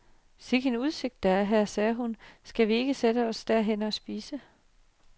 Sikken en udsigt, der er her, sagde hun, skal vi ikke sætte os derhenne og spise.